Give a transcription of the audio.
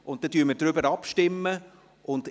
Dann stimmen wir über diesen ab.